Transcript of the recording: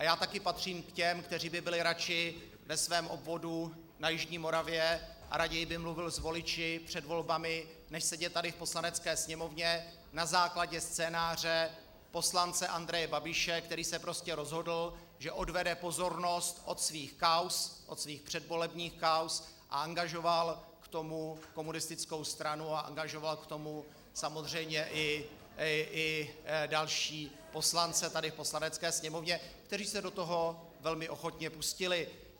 A já taky patřím k těm, kteří by byli radši ve svém obvodu na jižní Moravě a raději by mluvil s voliči před volbami, než sedět tady v Poslanecké sněmovně na základě scénáře poslance Andreje Babiše, který se prostě rozhodl, že odvede pozornost od svých kauz, od svých předvolebních kauz, a angažoval k tomu komunistickou stranu a angažoval k tomu samozřejmě i další poslance tady v Poslanecké sněmovně, kteří se do toho velmi ochotně pustili.